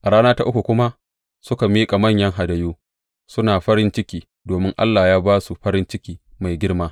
A rana ta uku kuma suka miƙa manyan hadayu, suna farin ciki domin Allah ya ba su farin ciki mai girma.